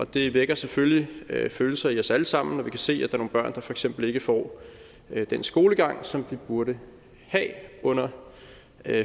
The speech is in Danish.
det vækker selvfølgelig følelser i os alle sammen når vi kan se at der er nogle børn der for eksempel ikke får den skolegang som de burde have under